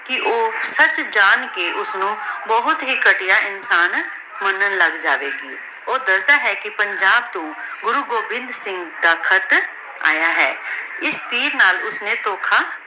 ਕੇ ਊ ਸਚ ਜਾਂ ਕੇ ਓਸਨੂ ਬੋਹਤ ਈ ਘਟਿਯਾ ਇਨਸਾਨ ਮਨਾਂ ਲਾਗ ਜਾਵੇ ਗੀ ਊ ਦਸਦਾ ਹੈ ਕੀ ਪੰਜਾਬ ਤੋਂ ਗੁਰੂ ਗੋਬਿੰਦਹ ਸਿੰਘ ਦਾ ਖ਼ਤ ਯਾ ਹੈ ਏਸ ਚੇਜ਼ ਨਾਲਮ ਓਸ੍ਨੀ ਧੋਖਾ